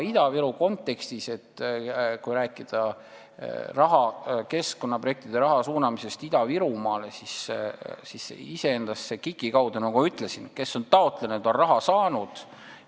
Kui rääkida keskkonnaprojektide raha suunamisest Ida-Virumaale, siis iseendast on nii, nagu ma ütlesin: kes on KIK-i kaudu raha taotlenud, on seda ka saanud.